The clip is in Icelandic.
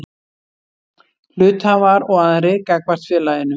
Hluthafar og aðrir gagnvart félaginu.